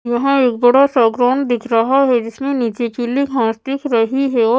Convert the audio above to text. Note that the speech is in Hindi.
यहाँ एक बड़ा सा ग्राउंड दिख रहा है जिसमें नीचे पीली घास दिख रही ही और --